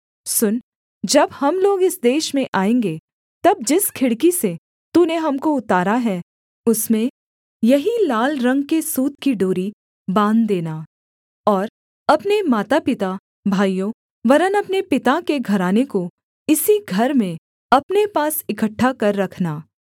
सुन जब हम लोग इस देश में आएँगे तब जिस खिड़की से तूने हमको उतारा है उसमें यही लाल रंग के सूत की डोरी बाँध देना और अपने माता पिता भाइयों वरन् अपने पिता के घराने को इसी घर में अपने पास इकट्ठा कर रखना